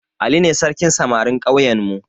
Ali ne sarkin samarin ƙauyenmu